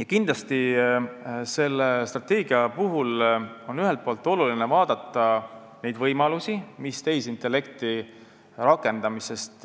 Ja kindlasti on selle strateegia puhul oluline ühest küljest vaadata neid võimalusi, mis tehisintellekti rakendamisest